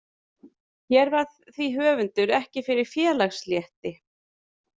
Hér varð því höfundur ekki fyrir félagslétti.